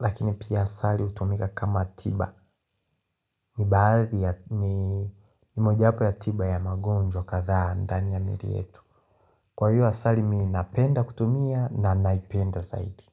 Lakini pia asali hutumika kama tiba. Ni mmoja wapo ya tiba ya magonjwa kadhaa ndani ya mwili yetu. Kwa hivyo asali mimi napenda kutumia na naipenda zaidi.